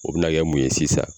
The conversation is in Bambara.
O bi na kɛ mun ye sisan